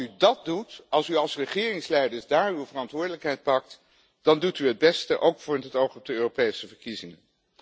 Als u dat doet, als u als regeringsleiders daar uw verantwoordelijkheid pakt, dan doet u het beste, ook met het oog op de Europese verkiezingen.